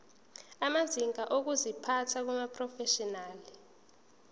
amazinga okuziphatha kumaprofeshinali